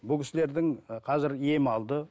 бұл кісілердің і қазір ем алды